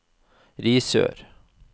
Risør